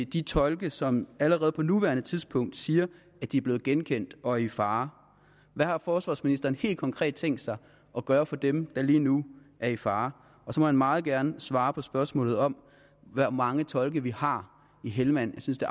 de tolke som allerede på nuværende tidspunkt siger at de er blevet genkendt og er i fare hvad har forsvarsministeren helt konkret tænkt sig at gøre for dem der lige nu er i fare og så må han meget gerne svare på spørgsmålet om hvor mange tolke vi har i helmand jeg synes det